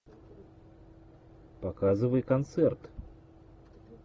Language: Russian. показывай концерт